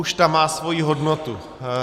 Už ta má svoji hodnotu.